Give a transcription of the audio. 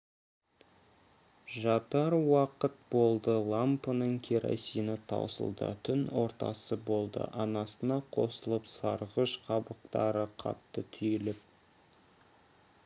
жатар уақыт болды лампының керосині таусылды түн ортасы болды анасына қосылып сарғыш қабақтары қатты түйіліп